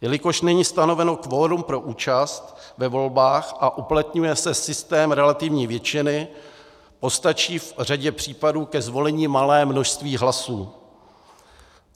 Jelikož není stanoveno kvorum pro účast ve volbách a uplatňuje se systém relativní většiny, postačí v řadě případů ke zvolení malé množství hlasů.